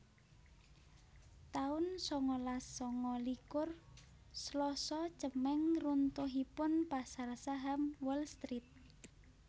taun sangalas sanga likur Slasa Cemeng runtuhipun pasar saham Wall Street